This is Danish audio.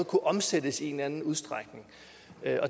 kunne omsættes i en eller anden udstrækning